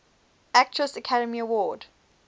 actress academy award